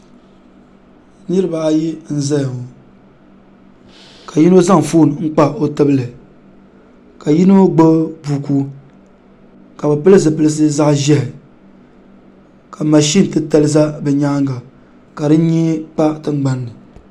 niraba ayi n ʒɛya doo mini paɣa doo maa gbubila foon bee binshaɣu n zaŋ kpa o tibili ka paɣa maa mii gbubi buku bi zaa pilila zipili ʒiɛhi ka bi ʒi mashin gbuni mashin maa ka di ʒɛ tankpaɣu shee